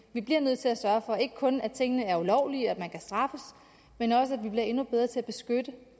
vi bliver nødt til at sørge for ikke kun at tingene ikke er ulovlige og at man kan straffes men også at vi bliver endnu bedre til at beskytte